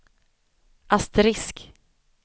asterisk